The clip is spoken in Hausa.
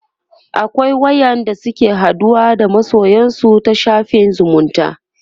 akwai wa ƴan da suke haɗuwa da masoyansu ta shafin zumunta